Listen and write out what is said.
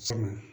Sabu